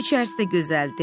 İçərisi də gözəldir.